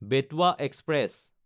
Betwa express